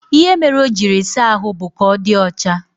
Ihe mere o jiri saa ahụ bụ ka ọ dị ọcha